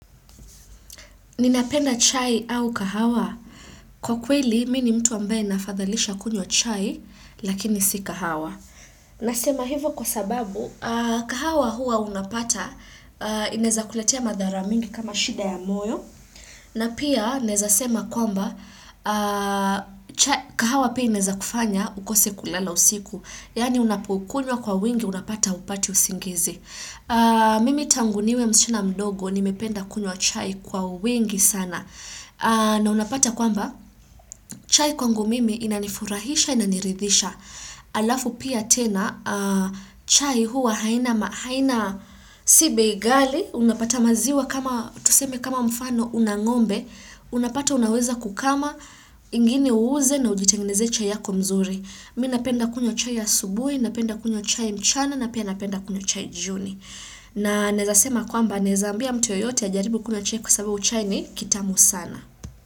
Ninapenda chai au kahawa. Kwa kweli, mi ni mtu ambaye nafadhalisha kunywa chai, lakini si kahawa. Nasema hivo kwa sababu, kahawa hua unapata, inaeza kuletea madhara mingi kama shida ya moyo. Na pia, naeza sema kwamba, kahawa pia ineza kufanya ukose kulala usiku. Yaani, unapokunywa kwa wingi, unapata hupati usingizi. Mimi tangu niwe msichana mdogo nimependa kunywa chai kwa wingi sana na unapata kwamba chai kwangu mimi inanifurahisha inaniridhisha Alafu pia tena chai huwa haina si bei ghali Unapata maziwa kama tuseme kama mfano una ng'ombe Unapata unaweza kukama ingine uuze na ujitenginezee chai yako mzuri Mi napenda kunywa chai asubuhi, napenda kunywa chai mchana na pia napenda kunywa chai jioni na naeza sema kwamba naeza ambia mtu yoyote ajaribu kunywa chai kwa sababu chai ni kitamu sana.